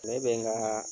Ne bɛ n ka